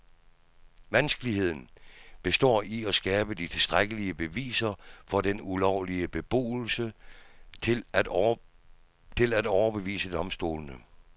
Vanskeligheden består i at skabe de tilstrækkelige beviser for den ulovlige beboelse til at overbevise domstolene.